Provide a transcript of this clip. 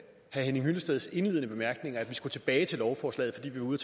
henning hyllesteds indledende bemærkninger at vi skulle tilbage til lovforslaget fordi vi var ude